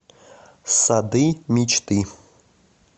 сады мечты